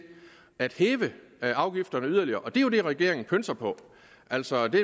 at hæve afgifterne yderligere og det er jo det regeringen pønser på altså det